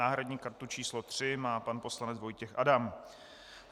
Náhradní kartu číslo 3 má pan poslanec Vojtěch Adam.